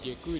Děkuji.